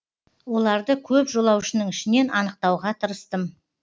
оларды көп жолаушының ішінен анықтауға тырыстым